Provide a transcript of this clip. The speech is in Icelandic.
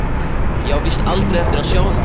Ég á víst aldrei eftir að sjá neitt.